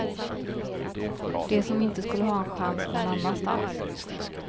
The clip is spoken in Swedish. De som inte skulle ha en chans någon annanstans.